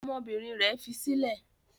Ọmọbìnrin rẹ̀ fi sílẹ̀?